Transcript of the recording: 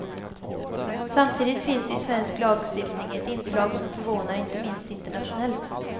Samtidigt finns i svensk lagstiftning ett inslag som förvånar inte minst internationellt.